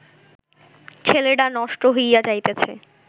ছেলেডা নষ্ট হইয়া যাইতাছে